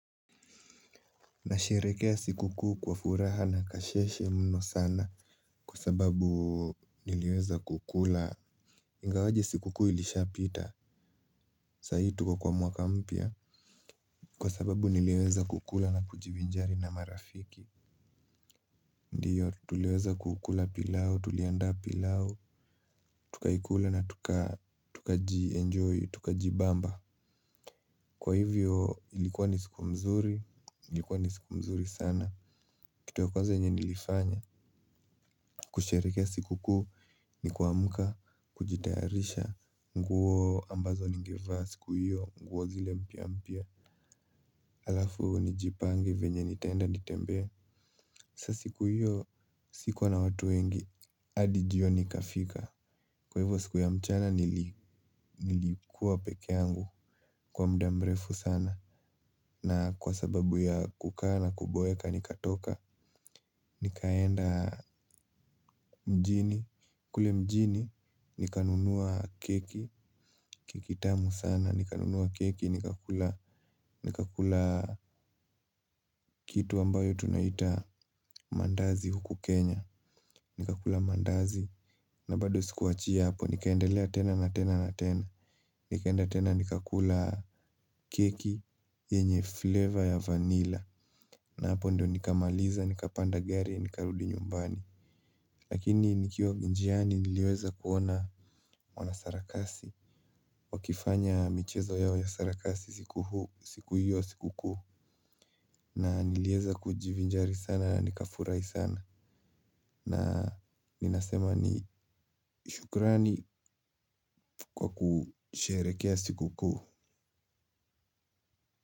Nasherehekea sikukuu kwa furaha na kasheshe mno sana. Kwasababu niliweza kukula, ingawaje sikukuu ilishapita. Saa hii tuko kwa mwaka mpya. Kwasababu niliweza kukula na kujivinjari na marafiki. Ndiyo tuliweza kukula pilau, tuliandaa pilau. Tukaikula na tukaenjoy, tukajibamba. Kwahivyo ilikuwa ni siku mzuri, ilikuwa ni siku mzuri sana. Kitu ya kwanza yenye nilifanya kusherehekea sikukuu ni kuamka, kujitayarisha. Nguo ambazo ningevaa siku hiyo, nguo zile mpya mpya. Alafu nijipange venye nitaenda nitembee. Sasa siku hiyo sikuwa na watu wengi. Hadi jioni ikafika. Kwa hivyo siku ya mchana nilikuwa peke yangu, kwa mda mrefu sana na kwa sababu ya kukaa na kuboeka nikatoka. Nikaenda mjini, kule mjini nikanunua keki. Keki tamu sana, nikanunua keki, nikakula kitu ambayo tunaita maandazi huku Kenya. Nikakula maandazi, na bado sikuachia hapo, nikaendelea tena na tena na tena. Nikaenda tena. Nikakula keki, yenye fleva ya vanilla. Na hapo ndio nikamaliza, nikapanda gari, nikarudi nyumbani. Lakini nikiwa njiani niliweza kuona mwanasarakasi wakifanya michezo yao ya sarakasi siku huu, siku hiyo sikukuu. Na niliweza kujivinjari sana na nikafurahi sana. Na ninasema ni shukurani kwa kusherekea sikukuu.